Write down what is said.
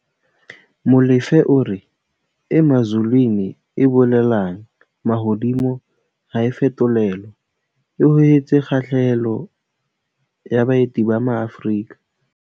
Molefe o re Emazulwini, e bolelang 'mahodimo' ha e fetolelwa, e hohetse kgahlehelo ya baeti ba maAfrika